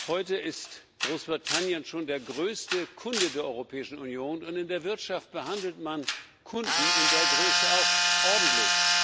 Heute ist Großbritannien schon der größte Kunde der Europäischen Union, und in der Wirtschaft behandelt man Kunden in der Größe auch ordentlich.